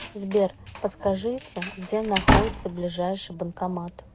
сбер подскажите где находится ближайший банкомат